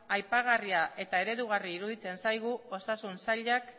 aipagarria eta eredugarria iruditzen zaigu osasun sailak